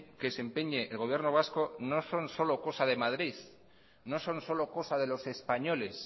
que se empeñe el gobierno vasco no son solo cosa de madrid no son solo cosa de los españoles